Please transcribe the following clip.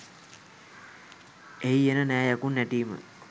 එහි එන නෑ යකුන් නැටීම